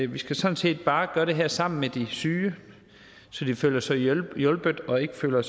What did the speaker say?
vi skal sådan set bare gøre det sammen med de syge så de føler sig hjulpet og ikke føler